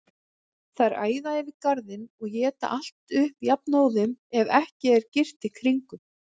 Þær æða yfir garðinn og éta allt upp jafnóðum, ef ekki er girt í kringum.